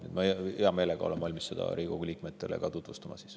Siis ma olen hea meelega valmis seda ka Riigikogu liikmetele tutvustama.